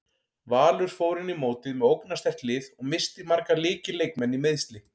Valur fór inn í mótið með ógnarsterkt lið og missti marga lykil leikmenn í meiðsli.